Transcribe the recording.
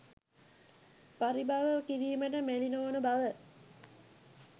පරිභව කිරීමට මැලි නොවන බව